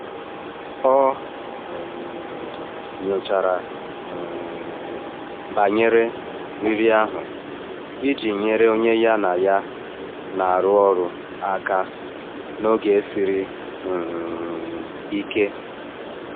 Ọ um nyochara um banyere riri ahụ iji nyere onye ya na ya na-arụ ọrụ aka n’oge siri um ike.